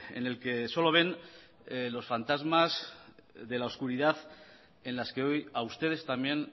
en el que solo ven los fantasmas de la oscuridad en las que hoy a ustedes también